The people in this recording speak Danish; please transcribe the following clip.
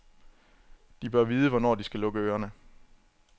De bør vide, hvornår de skal lukke ørene.